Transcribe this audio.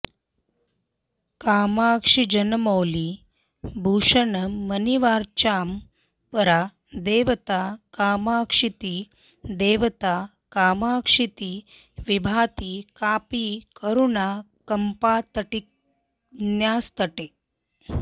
कामाक्षीजनमौलिभूषणमणिर्वाचां परा देवता कामाक्षीति विभाति कापि करुणा कम्पातटिन्यास्तटे